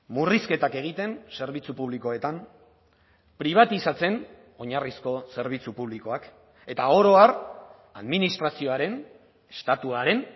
murrizketak egiten zerbitzu publikoetan pribatizatzen oinarrizko zerbitzu publikoak eta oro har administrazioaren estatuaren